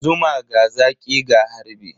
Zuma, ga zaƙi ga harbi.